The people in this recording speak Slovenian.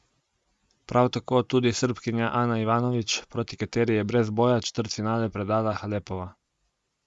Prav tako tudi Srbkinja Ana Ivanović, proti kateri je brez boja četrtfinale predala Halepova.